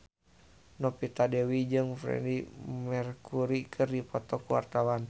Novita Dewi jeung Freedie Mercury keur dipoto ku wartawan